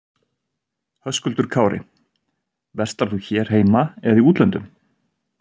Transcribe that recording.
Höskuldur Kári: Verslar þú hér heima eða í útlöndum?